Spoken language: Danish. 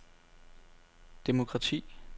demokrati